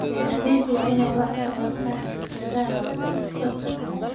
Beeraleydu waa inay wax ka bartaan khibradaha dadka kale.